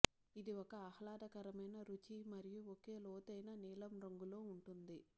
ఇది ఒక ఆహ్లాదకరమైన రుచి మరియు ఒక లోతైన నీలం రంగులో ఉంటుంది